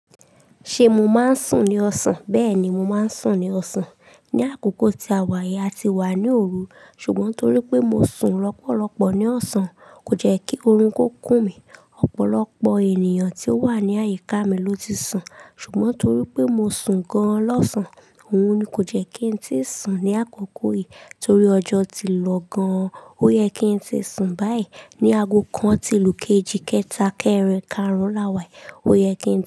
Ṣé mo máa ń sùn ní ọ̀sán? Bẹ́ẹ̀ ni, mo máa ń sùn ní ọ̀sán. Ni àkókò tí a wá yìí, a ti wà ní òru. Ṣùgbọ́n torí pé mo sùn lọ́pọ̀lọ́pọ̀ ní ọ̀sán, kò jẹ́ kí oorun kó kùn mí. Ọ̀pọ̀lọpọ̀ ènìyàn tí ó wà ní àyíká mi ló ti sùn. Ṣùgbọ́n torí pé mo sùn gan lọ́sán, òun ni kò jẹ́ kí n tíì sùn ní àkókò yìí. Torí ọjọ́ ti lọ gan-an, ó yẹ kí n tí sùn báyìí. Ni ago kan ti ìlú kejì kẹtà kẹrin karùn-ún láwà, ó yẹ kí n dé.